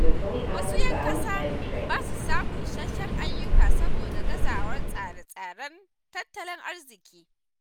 Wasu ‘yan ƙasa ba sa samun isassun ayyuka saboda gazawar tsare-tsaren tattalin arziƙi.